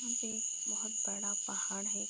यहाँ पे बहुत बड़ा पहाड़ है।